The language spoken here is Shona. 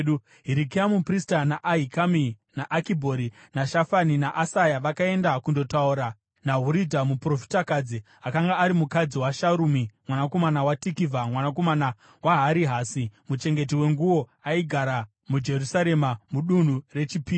Hirikia muprista, naAhikami, naAkibhori, naShafani naAsaya vakaenda kundotaura naHuridha muprofitakadzi, akanga ari mukadzi waSharumi mwanakomana waTikivha, mwanakomana waHarihasi, muchengeti wenguo. Aigara muJerusarema, muDunhu reChipiri.